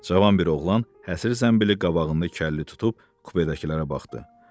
Cavan bir oğlan, həsir zəmbili qabağında kəlli tutub kupedəkilərə baxdı.